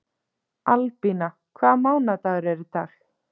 Albína, hvaða mánaðardagur er í dag?